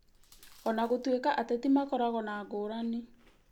Ona gũtuĩka ateti makoragwo na ngũrani